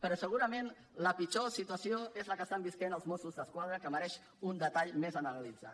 però segurament la pitjor situació és la que estan vivint els mossos d’esquadra que mereix un detall més analitzat